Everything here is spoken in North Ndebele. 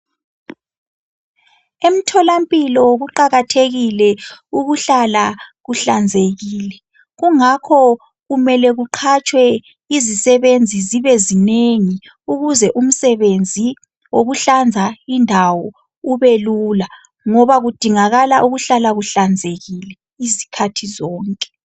Emtholampilo kuqakathekile ukuhlala kuhlanzekile kungakhokumele kuqhatshwe izisebenzi zibe zinengi ukuze umsebenzi wokuhlanza indawo ube lula ngoba kudingakala ukuhlala kuhlanzekile izikhathi zonke.